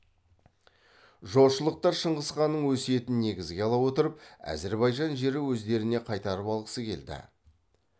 жошылықтар шыңғысханның өсиетін негізге ала отырып әзербайжан жері өздеріне қайтарып алғысы келді